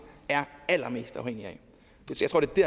er allermest afhængige